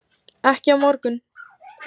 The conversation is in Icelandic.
Ekki á morgun.